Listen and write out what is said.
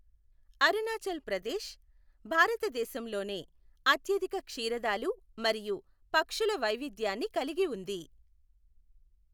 అరుణాచల్ ప్రదేశ్ భారతదేశంలోనే అత్యధిక క్షీరదాలు మరియు పక్షుల వైవిధ్యాన్ని కలిగి ఉంది.